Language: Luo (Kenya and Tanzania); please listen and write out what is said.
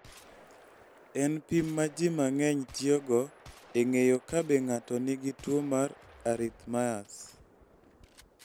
En pim ma ji mang�eny tiyogo e ng�eyo ka be ng�ato nigi tuo mar arrhythmias.